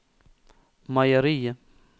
meieriet